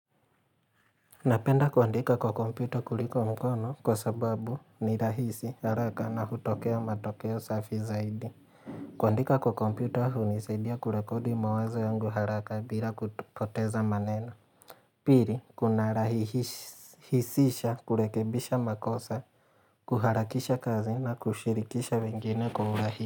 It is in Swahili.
Napenda kuandika kwa komputa kuliko mkono kwa sababu ni rahisi haraka na hutokea matokeo safi zaidi. Kuandika kwa komputa hunisaidia kurekodi mawazo yangu haraka bila kupoteza maneno. Piri, kunarahisisha kurekebisha makosa, kuharakisha kazi na kushirikisha wengine kwa urahi.